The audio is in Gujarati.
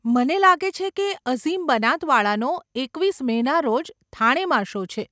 મને લાગે છે કે અઝીમ બનાતવાળાનો એકવીસ મેના રોજ થાણેમાં શો છે.